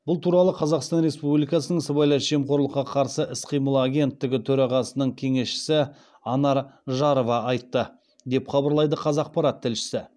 бұл туралы қазақстан республикасының сыбайлас жемқорлыққа қарсы іс қимыл агенттігі төрағасының кеңесшісі анар жарова айтты деп хабарлайды қазақпарат тілшісі